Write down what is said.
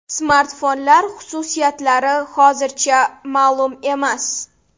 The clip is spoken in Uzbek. Smartfonlar xususiyatlari hozircha ma’lum emas.